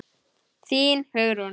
Þín, Hugrún.